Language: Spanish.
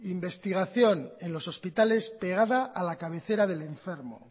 investigación en los hospitales pegada a la cabecera del enfermo